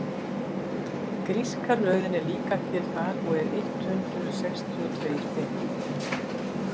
Gríska röðin er líka til þar og er eitt hundruð sextíu og tveir bindi.